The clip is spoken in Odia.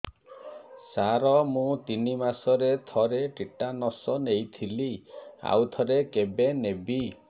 ସାର ମୁଁ ତିନି ମାସରେ ଥରେ ଟିଟାନସ ନେଇଥିଲି ଆଉ ଥରେ କେବେ ନେବି